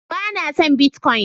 bana son "Bitcoin "